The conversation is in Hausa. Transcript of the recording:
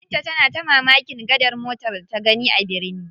Binta tana ta mamakin gadar motar da ta gani a birni.